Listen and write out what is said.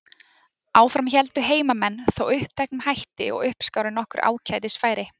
Áfram héldu heimamenn þó uppteknum hætti og uppskáru nokkur ágætis færi.